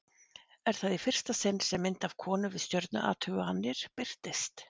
Er það í fyrsta sinn sem mynd af konu við stjörnuathuganir birtist.